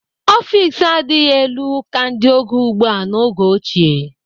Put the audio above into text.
Ọfiks adịghị elu ka ndị oge ugbu a n'oge ochie.